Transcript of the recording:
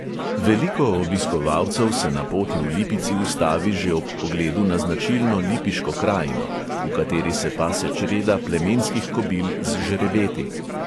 Veliko obiskovalcev se na poti v lipici ustavi že ob pogledu na značilno lipiško krajino, v kateri se pase čreda plemenskih kobil z žrebeti.